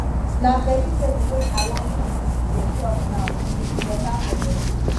na vegetable wey i wan to dey chop now e beta for body